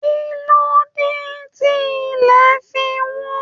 Ki n ló dé tí ilẹ̀ fí wọ́n?